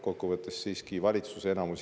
Kokkuvõttes siiski enamus valitsusest jätkab.